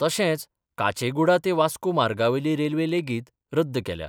तशेंच काचेगुडा ते वास्को मार्गा वयली रेल्वे लेगीत रद्द केल्या.